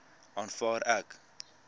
aanvaar ek